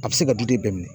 A bɛ se ka du den bɛɛ minɛ